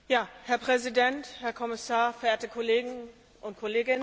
Herr Präsident, Herr Kommissar, verehrte Kolleginnen und Kollegen!